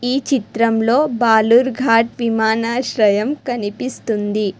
ఈ చిత్రంలో భాలూర్ ఘాట్ విమానాశ్రయం కనిపిస్తుంది.